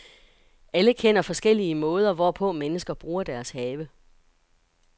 Alle kender forskellige måder, hvorpå mennesker bruger deres have.